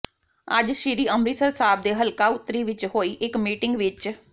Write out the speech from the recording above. ਅੱਜ ਸ਼੍ਰੀ ਅੰਮ੍ਰਿਤਸਰ ਸਾਹਿਬ ਦੇ ਹਲਕਾ ਉੱਤਰੀ ਵਿੱਚ ਹੋਈ ਇੱਕ ਮੀਟਿੰਗ ਵਿੱਚ ਸ